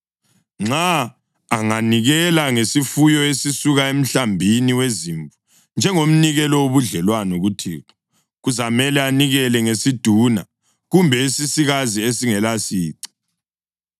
Nxa anganikela ngesifuyo esisuka emhlambini wezimvu njengomnikelo wobudlelwano kuThixo, kuzamele anikele ngesiduna kumbe esisikazi esingelasici.